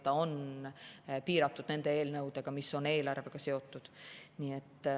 See on piiratud nende eelnõudega, mis on eelarvega seotud.